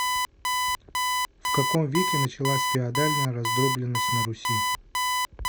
в каком веке началась феодальная раздробленность на руси